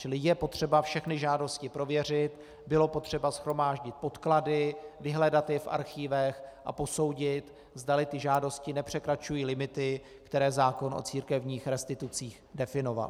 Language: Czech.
Čili je potřeba všechny žádosti prověřit, bylo potřeba shromáždit podklady, vyhledat je v archívech a posoudit, zdali ty žádosti nepřekračují limity, které zákon o církevních restitucích definoval.